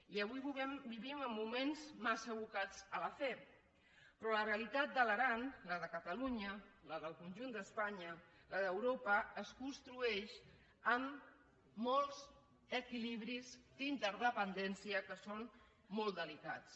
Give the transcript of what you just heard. i avui vivim en moments massa abocats a la fe però la realitat de l’aran la de catalunya la del conjunt d’espanya la d’europa es construeix amb molts equilibris d’interdependència que són molt delicats